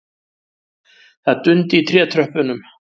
Það dundi í trétröppunum.